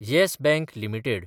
yes Bank limited